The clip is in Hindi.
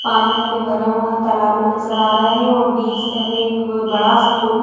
पानी हमें भरा हुआ तालाब में नजर आ रहा है और बीच से हमें एक बड़ा सा पुल।